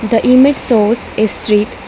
the image shows a street--